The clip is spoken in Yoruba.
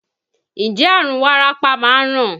Ǹjẹ́ àrùn wárápá máa ń ràn?